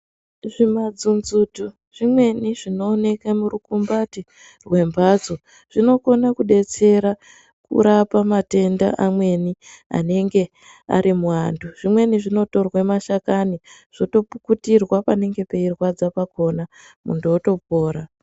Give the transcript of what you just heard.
Zvimadzonzoti zvimweni zvinooneka murukumbati rwembatso zvinokone kudetsera kurapa matenda amweni anenge ari muantu zvimweni zvinotorwe mashakani zvotopukutirwa panenge peirwadza pakona muntu otopora.